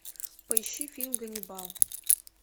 поищи фильм ганнибал